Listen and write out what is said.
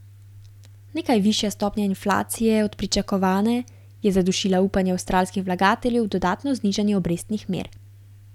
Nekaj višja stopnja inflacije od pričakovane je zadušila upanje avstralskih vlagateljev v dodatno znižanje obrestnih mer.